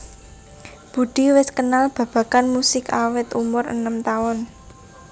Budi wis kenal babagan musik awit umur enem taun